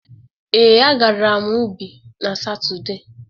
Ee, a gara m ubi n'Satọde.